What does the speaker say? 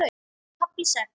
KAFLI SEX